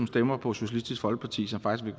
stemmer på socialistisk folkeparti som faktisk